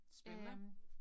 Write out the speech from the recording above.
Spændende